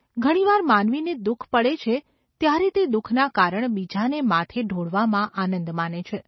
ઘણી વાર માનવીને દુઃખ પડે છે ત્યારે તે દુઃખનાં કારણ બીજાને માથે ઢોળવામાં આનંદ માને છે.